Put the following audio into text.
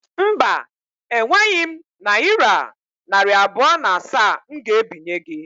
Mba, e nweghị m nayira narị abụọ na asaa m ga ebinye gi